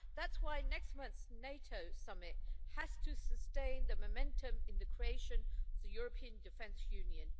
That's why next month's NATO summit has to sustain the momentum in the creation of the European Defence Union.